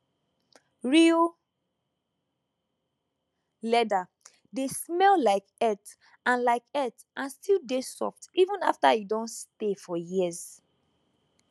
real leather dey smell like earth and like earth and still dey soft even after e don stay for years